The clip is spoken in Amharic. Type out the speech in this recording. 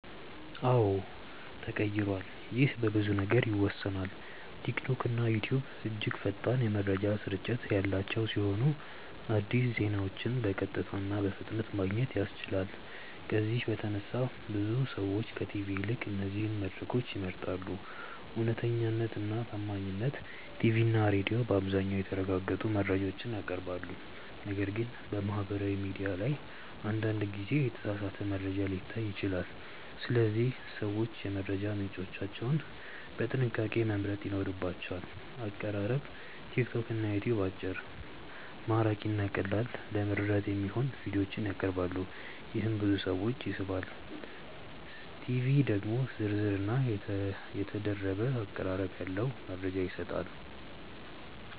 አዎን ተቀይሯል ይህ በብዙ ነገሮች ይወሰናል። ቲክቶክና ዩትዩብ እጅግ ፈጣን የመረጃ ስርጭት ያላቸው ሲሆን አዲስ ዜናዎችን በቀጥታ እና በፍጥነት ማግኘት ያስችላሉ። ከዚህ በተነሳ ብዙ ሰዎች ከቲቪ ይልቅ እነዚህን መድረኮች ይመርጣሉ። እውነተኛነት እና ታማኝነት ቲቪ እና ሬዲዮ በአብዛኛው የተረጋገጡ መረጃዎችን ያቀርባሉ፣ ነገር ግን በማህበራዊ ሚዲያ ላይ አንዳንድ ጊዜ የተሳሳተ መረጃ ሊታይ ይችላል። ስለዚህ ሰዎች የመረጃ ምንጮቻቸውን በጥንቃቄ መምረጥ ይኖርባቸዋል። አቀራረብ ቲክቶክ እና ዩትዩብ አጭር፣ ማራኪ እና ቀላል ለመረዳት የሚሆኑ ቪዲዮዎችን ያቀርባሉ፣ ይህም ብዙ ሰዎችን ይስባል። ቲቪ ደግሞ ዝርዝር እና የተደረገ አቀራረብ ያለው መረጃ ይሰጣል።